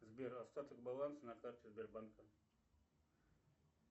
сбер остаток баланса на карте сбербанка